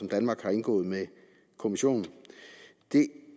danmark har indgået med kommissionen det